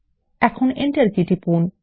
এখন enter key টিপুন